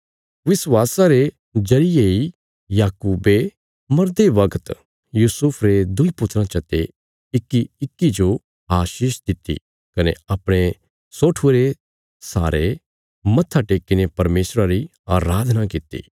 विश्वासा रे जरिये इ याकूबे मरदे बगत यूसुफा रे दुईं पुत्राँ चते इक्कीइक्की जो आशीष दित्ति कने अपणे सोठुये रे सहारे मत्था टेक्कीने परमेशरा री अराधना कित्ती